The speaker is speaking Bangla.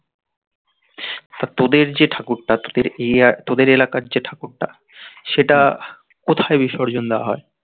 আর তোদের যে ঠাকুরটা তোদের এই এলাকা তোদের এলাকার যে ঠাকুরটা সেটা কত বিসর্জন দেওয়া হয়